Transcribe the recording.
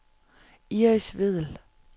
Iris Vedel